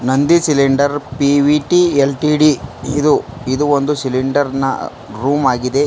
ಅಂದಿ cylinder P V T L T D ಇದು ಇದು ಒಂದು ಸಿಲಿಂಡರ್ ನ ರೂಮ್ ಆಗಿದೆ.